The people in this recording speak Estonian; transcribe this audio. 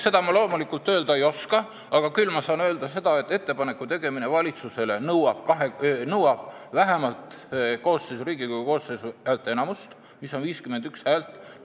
Seda ma loomulikult öelda ei oska, aga küll ma saan öelda, et ettepaneku tegemine valitsusele nõuab vähemalt Riigikogu koosseisu häälteenamust, mis tähendab 51 häält.